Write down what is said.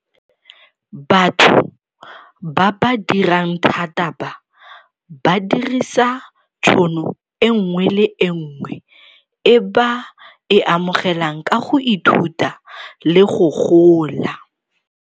Batho ba ba dirang thata ba, ba dirisa tšhono e nngwe le e nngwe e ba e amogelang ka go ithuta le go gola.